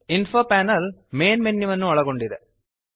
info panel main ಮೆನ್ಯುವನ್ನು ಒಳಗೊಂಡಿದೆ